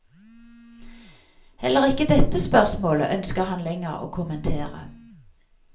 Heller ikke dette spørsmålet ønsker han lenger å kommentere.